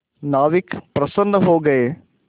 नाविक प्रसन्न हो गए